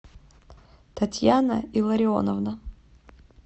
татьяна илларионовна